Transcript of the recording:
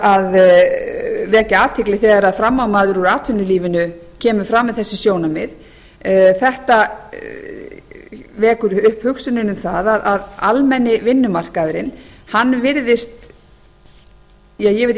að vekja athygli þegar frammámaður úr atvinnulífinu kemur fram með þessi sjónarmið þetta vekur upp hugsunina um það að almenni vinnumarkaðurinn virðist ja ég veit ekki hvort ég